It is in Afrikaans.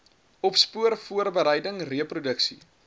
opspoor voorbereiding reproduksie